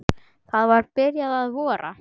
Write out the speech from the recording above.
Það var byrjað að vora.